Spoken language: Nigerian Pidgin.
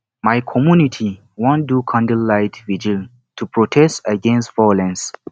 my community wan do candlelight virgil to protest against violence